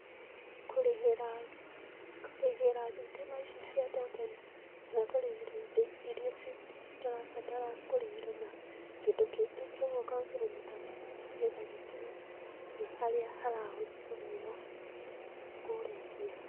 Kũrĩhĩra, kũrĩhĩra thitima ici cia token i, kana kũrĩhĩra indo ĩira citarabatara kũrĩhĩrũo na kĩndũ kĩngĩ koguo ũkahũthĩra mĩtambo ĩno nĩgetha gĩkinye harĩa haratũmĩrũo kũrĩhĩrũo.